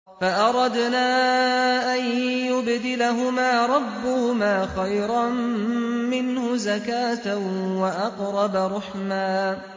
فَأَرَدْنَا أَن يُبْدِلَهُمَا رَبُّهُمَا خَيْرًا مِّنْهُ زَكَاةً وَأَقْرَبَ رُحْمًا